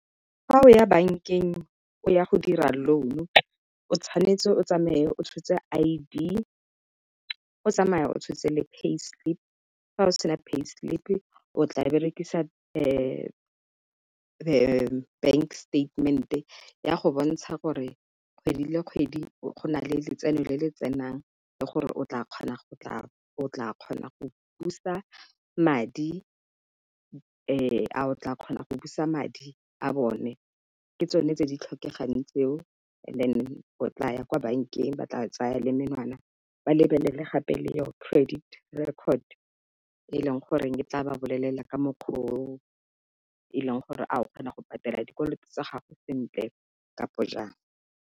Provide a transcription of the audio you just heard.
Fa o ya bankeng. O ya go dira loan-u, o tshwanetse o tsamaye o tshotse I_D. O tsamaya o tshotse le Pay slip-i. Fa o sena Pay slip-i, o tla berekisa the bank statement-e, e ya go bontsha gore kgwedi le kgwedi go na le letseno le le tsenang. Le gore o tla kgona go o tla kgona go busa madi a o tla kgona go busa madi a bone. Ke tsone tse di tlhokegang tseo and then, o tla ya kwa bankeng ba tla tsaya le menwana, ba lebelele gape le our Credit record -e, e leng gore ke tla ba bolelela, ka mokgwa o e leng gore a o kgona go patela, dikoloto tsa gago sentle kapo jaang.